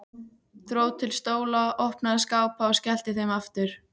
Dró til stóla, opnaði skápa og skellti þeim aftur.